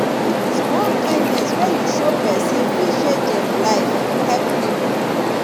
small kindness wey you show pesin fit change em life help pipo